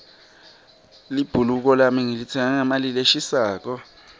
libhuluko lami ngilitsenge ngemali leshisako